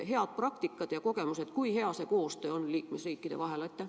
Heade praktikate ja kogemustega seoses, kui hea on koostöö liikmesriikide vahel?